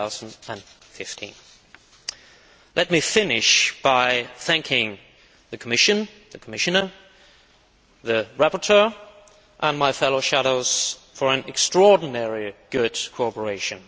2015. Let me finish by thanking the Commission, the Commissioner, the rapporteur and my fellow shadows for their extraordinarily good cooperation